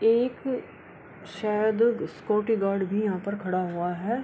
एक शायद security guard भी यहाँ पर खड़ा हुआ है |